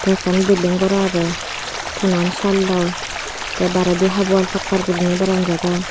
eh ekkan bilding gor agey tonan salloi te bairedi half wall pakkar gori baranjagan.